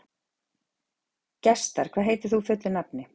Gestar, hvað heitir þú fullu nafni?